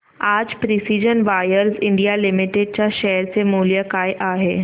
आज precision wires India limited च्या share चे मूल्य काय आहे